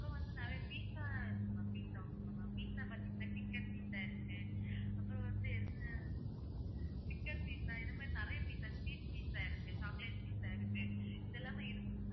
நிறைய pizza இருக்கு ma'am pizza பாத்தீங்கன்னா chicken pizza இருக்கு அப்புறம் வந்து chicken pizza இந்த மாதிரி நிறைய pizza sweet pizza இருக்கு chocolate pizza இதெல்லாமே இருக்கு.